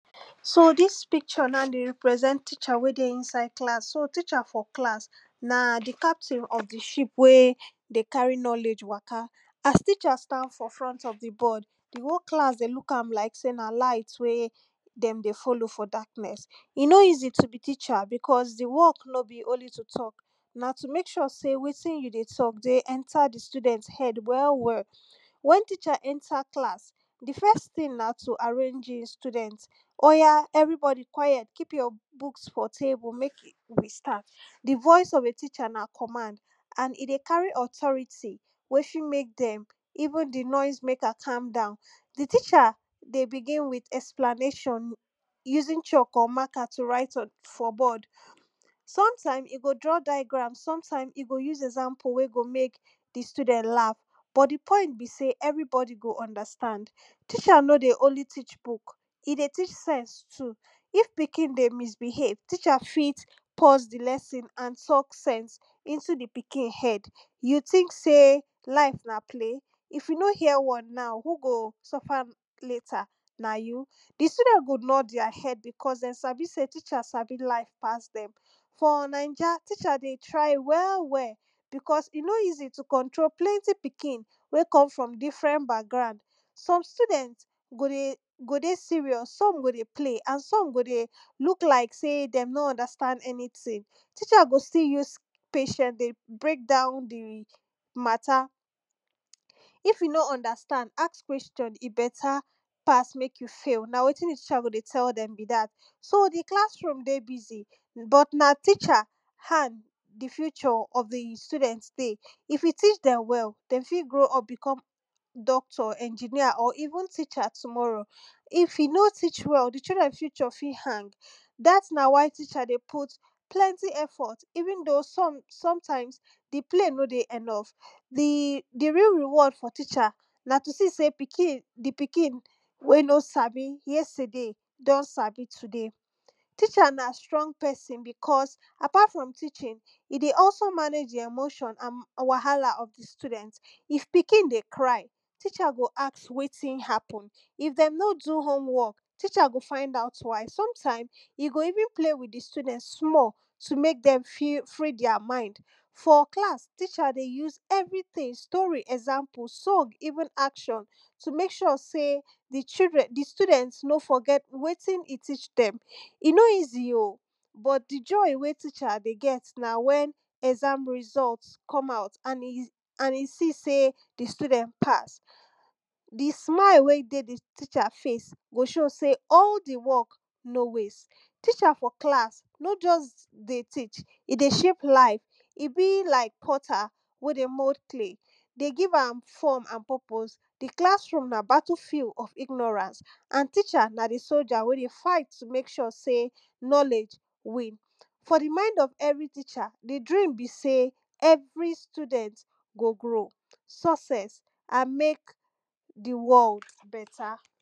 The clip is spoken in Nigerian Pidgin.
so dis picture now dey represent teacher wen dey inside class, so teacher for class na di captain of di ship wey dey carry knowledge waka. as teacher stand for front of di board, di whole class dey look am like sey na light wey dem dey follow for darkness. e no easy to be teacher, because di work no be only to talk na to make sure sey wetin you dey talk dey enter di children head well well. when teacher enter class di first thing na to arrange di student, oya everybody quiet, keep your book for table, make we start. di voice of a teacher na command and e dey carry authority wey fit make dem even di noise maker calm down. di teacher dey bigin with explanation, using chalk or marker to write on di for board. some time, e go draw diagram, sometime e go use example e go make di student laugh, but di point be sey everybody go understand. teacher no dey only teach book, e dey teach sense too, if pikin dey misbehave teacher fit pause di lesson and talk sense, into di pikin head you think sey life na play, if you no hear word now who go suffer later, na you? di student go nod their head because dem sabi sey di teacher sabi life pass dem. for naija teacher dey try well well because e no easy to control different pikin wey come from different background, some student go dey go dey serious, some go dey play and some go dey look like sey dem no understand anything, teacher go still use patience dey breakdown di matter. if you no understand ask question e better pass make you fail, na wetin teacher go dey tell dem be dat. so di class room dey busy but na teacher hand di future of di student dey, if you teach dem well dem fit grow up become doctor, engineer or even teacher tomorrow. if you no teach well di children future fit hang, dat na why teacher dey put plenty effort even though sometimes di pay no dey enough. di di real reward for teacher na to see sey pikin di pikin wey no sabi yesterday, don sabi today. teacher na strong person because apart from teaching e dey also manage di emotion and wahala of di student. if pikin dey cry, teacher go ask wetin happen, if dem no do home work teacher go find out why somtime, e go even play with di children small to make dem feel free their mind. for class teacher dey use everything story, example, song even action, to make sure sey di children di student no forget wetin e teach dem. e no easy oh, but di joy wen teacher dey get na wen exam result come out and e and e see sey di student pass. di smile wen dey di teacher face go show sey all di work no waste, teacher for class no just dey teach e dey shape life. e be like potter wey dey mold clay e dey give am form and purpose, di class room na battle field of ignorance, and teacher na di soldier wen dey fight to make sure sey knowledge win. for di mind of every teacher, di dream be sey every student go grow, sucess and make di world better.